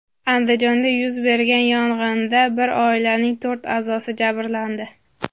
Andijonda yuz bergan yong‘inda bir oilaning to‘rt a’zosi jabrlandi.